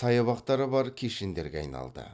саябақтары бар кешендерге айналды